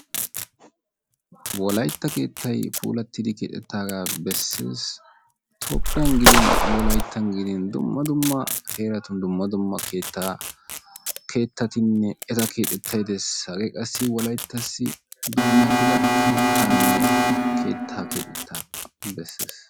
Wolaytta keettay puulattidi keexettaaga bessees; toophiyan gidin wolayttan gidin dumma dumma heeratun dumma dumma keettaattinne eta keexetyay Des hage qassi wolayttassi dummatida keettaanne keexettaa bessees.